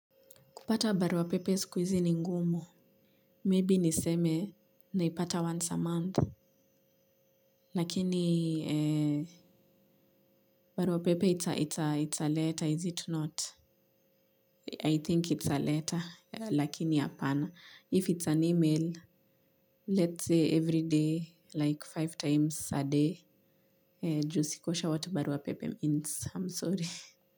Kupata baruapepe siku hizi ngumu. Maybe niseme naipata once a month. Lakini, barua pepe it's a letter, is it not? I think it's a letter, lakini apana. If it's an email, let's say every day, like five times a day. Ju siko sure what barua pepe means. I'm sorry.